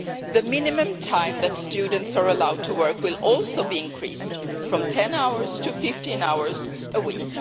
The minimum time that students are allowed to work will also be increased from 10 hours to 15 hours a week.